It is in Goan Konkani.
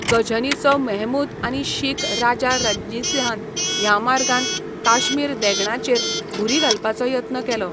गझनीचो महमूद आनी शीख राजा रंजीतसिंहान ह्या मार्गान काश्मीर देगणाचेर घुरी घालपाचो यत्न केलो.